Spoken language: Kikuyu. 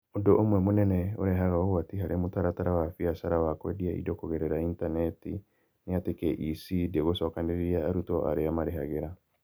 Ũndũ ũmwe mũnene ũrehaga ũgwati harĩ mũtaratara wa biacara ya kwendia indo kũgerera intaneti nĩ atĩ KEC ndĩgũcokanĩrĩria arutwo arĩa marĩhagĩra.